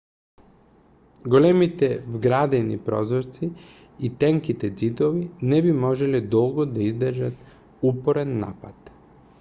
големите вградени прозорци и тенките ѕидови не би можеле долго да издржат упорен напад